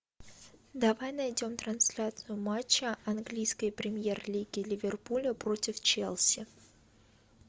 давай найдем трансляцию матча английской премьер лиги ливерпуля против челси